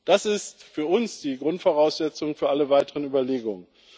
Das ist für uns die Grundvoraussetzung für alle weiteren Überlegungen.